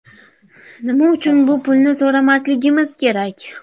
Nima uchun bu pulni so‘ramasligimiz kerak?